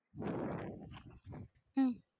உம்